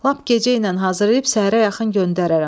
Lap gecəynən hazırlayıb səhərə yaxın göndərərəm.